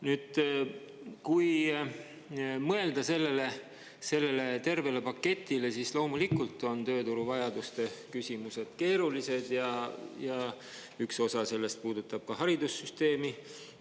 Nüüd, kui mõelda sellele tervele paketile, siis loomulikult on tööturu vajaduste küsimused keerulised ja üks osa sellest puudutab ka haridussüsteemi.